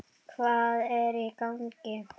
Hvað er í gangi?